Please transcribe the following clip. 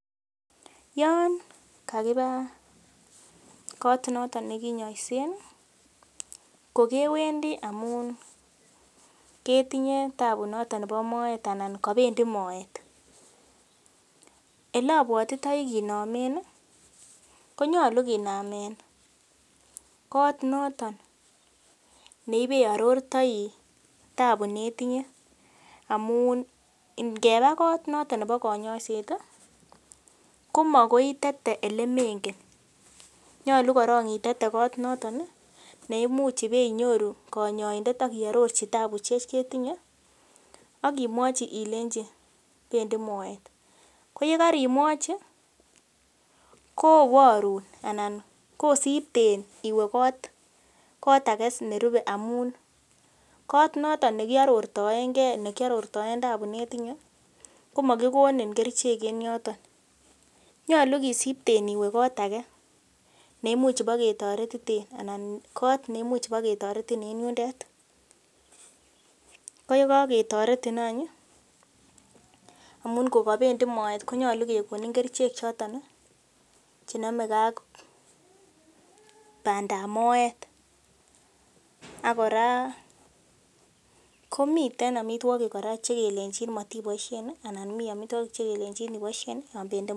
Yon kakiba kot noton nekinyoisen kokewendii amun ketinye tabu noton nebo moet anan kobendii moet elobwotitoi kinomen ih konyolu kinamen kot noton neibearortoi tabu netinye amun ngeba kot noton nebo konyoiset ih komakoi itete elemengen nyolu korong itete kot noton neimuch ibenyoru konyoindet ak ibe arorchi tabusiek chetinye ak imwochi ilei bendii moet ko yekorimwochi koborun anan kosipten iwe kot age nerupe amun kot noton nekiarortoengee nekiarortoen tabu netinye komokikonin kerichek en yoton nyolu kisipten iwe kot age neimuch iboketoretiten anan kot neimuch boketoretin en yundet ko yekaketoretin any ih amun ko kobendii moet konyolu kekonin kerichek choton ih chenomegee ak bandap moet ak kora komiten amitwogik kora chekelenjin matiboisien ih ana mii amitwogik chekelenjin iboisien yon bendii moet